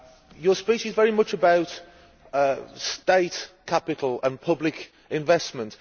Your speech is very much about state capital and public investment.